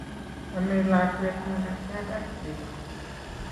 amei lakwet makatiat ak chego